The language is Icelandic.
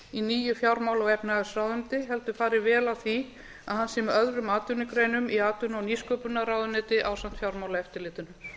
í nýju fjármála og efnahagsráðuneyti heldur fari vel á því að hann sé með öðrum atvinnugreinum í atvinnuvega og nýsköpunarráðuneyti ásamt fjármálaeftirlitinu